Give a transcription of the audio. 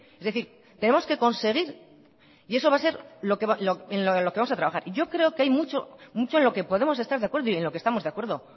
es decir tenemos que conseguir y eso va a ser en lo que vamos a trabajar y yo creo que hay mucho en lo que podemos estar de acuerdo y en lo que estamos de acuerdo